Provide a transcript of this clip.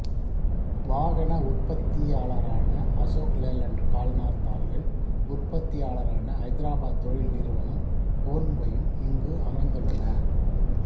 வாகன உற்பத்தியாளரான அசோக் லேலண்ட் கல்நார் தாள்கள் உற்பத்தியாளரான ஐதராபாத் தொழில் நிறுவனம் போன்வையும் இங்கு அமைந்துள்ளன